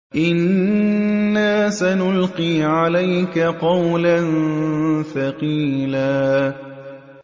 إِنَّا سَنُلْقِي عَلَيْكَ قَوْلًا ثَقِيلًا